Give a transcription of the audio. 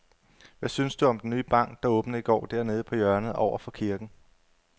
Hvad synes du om den nye bank, der åbnede i går dernede på hjørnet over for kirken?